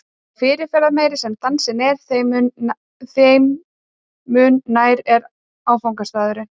Því fyrirferðarmeiri sem dansinn er, þeim mun nær er áfangastaðurinn.